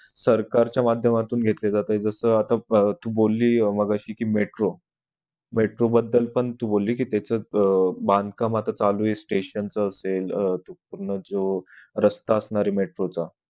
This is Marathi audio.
सरकारच्या माध्यमातून घेतले जातात जस आत्ता तू बोलिए मगाशी कि metro metro बद्दल पण तू बोलली कि त्याच्यात अह बांधकाम आता चालू आहे station च असेल अह तो पूर्ण जो रास्ता आसणार आहे metro चा